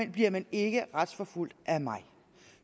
bliver man ikke retsforfulgt af mig